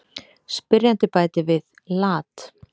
Spyrjandi bætir við: Lat.